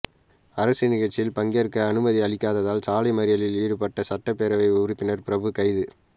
அரசு நிகழ்ச்சியில் பங்கேற்க அனுமதி அளிக்காததால் சாலை மறியலில் ஈடுபட்ட சட்டப்பேரவை உறுப்பினர் பிரபு கைது